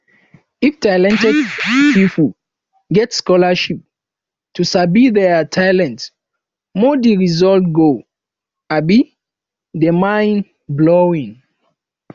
if talented pipo get scholarship to sabi their talent more di result go um de mind blowing